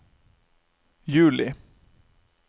juli